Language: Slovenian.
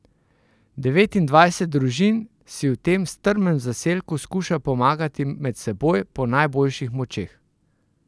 Devetindvajset družin si v tem strmem zaselku skuša pomagati med seboj po najboljših močeh.